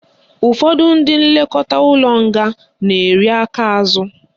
Ụfọdụ ndị nlekọta ụlọ nga na-eri aka azụ